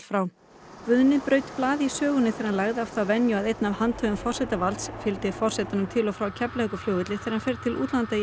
braut blað í sögunni þegar hann lagði af þá venju að einn af handhöfum forsetavalds fylgi forsetanum til og frá Keflavíkurflugvelli þegar hann fer til útlanda í embættiserindum